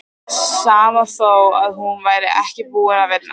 Sama þó að hún væri ekki búin að vinna.